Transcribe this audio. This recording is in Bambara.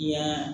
Yan